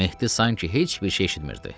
Mehdi sanki heç bir şey eşitmirdi.